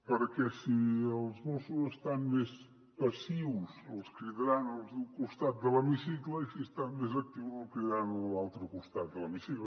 perquè si els mossos estan més passius els cridaran els d’un costat de l’hemicicle i si estan més actius el cridaran els de l’altre costat de l’hemicicle